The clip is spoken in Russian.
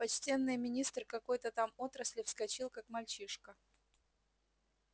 почтенный министр какой-то там отрасли вскочил как мальчишка